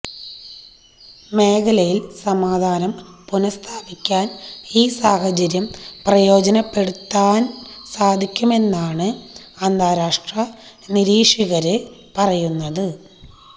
മേഖലയില് സമാധാനം പുനഃസ്ഥാപിക്കാന് ഈ സാഹചര്യം പ്രയോജനപ്പെടുത്താന് സാധിക്കുമെന്നാണ് അന്താരാഷ്ട്ര നിരീക്ഷകര് പറയുന്നത്